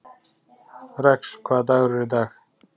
Rex, hvaða dagur er í dag?